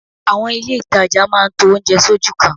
Àwọn ilé ìtajà máa ń to oúnjẹ sójú kan